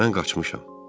Mən qaçmışam.